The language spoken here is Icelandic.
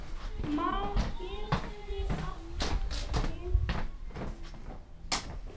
Mar getur átt við